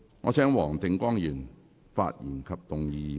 我請黃定光議員發言及動議議案。